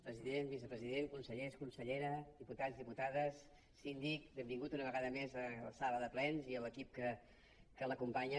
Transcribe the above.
president vicepresident consellers consellera diputats diputades síndic benvingut una vegada més a la sala de plens i l’equip que l’acompanya